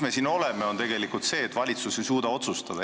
Me oleme siin tegelikult seetõttu, et valitsus ei suuda otsustada.